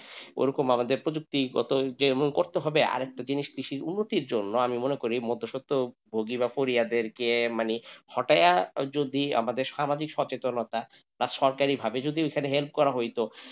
ওরকম আমাদের প্রযুক্তি গত যে এমন আমাদের করতে হবে আর একটা জিনিস কৃষি উন্নতির জন্য আমি মনে করি মধ্যে সত্য ভোগী মানে হটায়া যদি সামাজিক সচেতনতা সরকারি ভাবে যদি help করা হয়তো.